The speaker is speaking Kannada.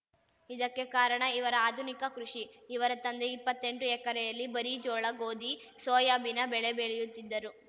ಇದಕ್ಕೆ ಕಾರಣ ಇವರ ಆಧುನಿಕ ಕೃಷಿ ಇವರ ತಂದೆ ಇಪ್ಪತ್ತೆಂಟು ಎಕರೆಯಲ್ಲಿ ಬರೀ ಜೋಳ ಗೋಧಿ ಸೋಯಾಬಿನ ಬೆಳೆ ಬೆಳೆಯುತ್ತಿದ್ದರು